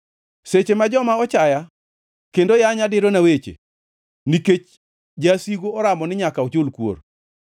Seche ma joma ochaya kendo yanya dirona weche, nikech jasigu oramo ni nyaka ochul kuor.